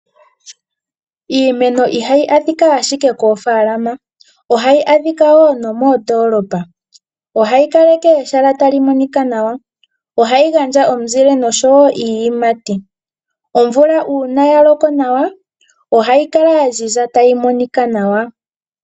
Iimenonihayi adhika ashika koofalama ohayi adhika wo moondolopa. Ohayi kaleke ehala lyi kale tali monika nwa. Ohayi gandja omunzile oshowo iiyimati.